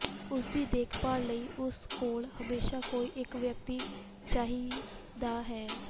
ਉਸ ਦੀ ਦੇਖਭਾਲ ਲਈ ਉਸ ਕੋਲ ਹਮੇਸ਼ਾ ਕੋਈ ਇਕ ਵਿਅਕਤੀ ਚਾਹੀਦਾ ਹੈ